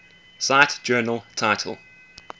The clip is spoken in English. cite journal title